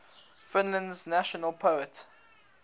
finland's national poet